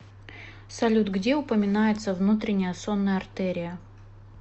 салют где упоминается внутренняя сонная артерия